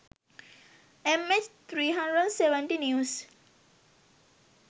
mh370 news